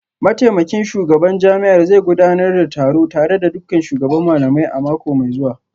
Mataimakin shugaban jami'ar zai gudanar da taro tare da dukkan shugaban malamai a mako mai zuwa